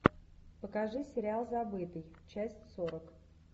покажи сериал забытый часть сорок